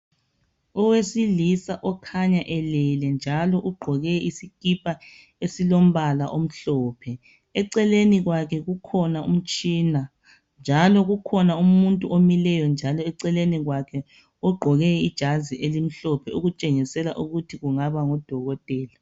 Owesilisa okhanya elele njalo ugqoke isikipha esilombala omhlophe eceleni kwakhe kukhona umtshina njalo kukhona umuntu omileyo njalo eceleni kwakhe ogqoke ijazi elimhlophe okutshengisela ukuthi kungaba ngudokotela